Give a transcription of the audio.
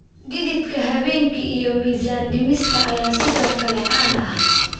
Dhididka habeenkii iyo miisaan dhimista ayaa sidoo kale caan ah.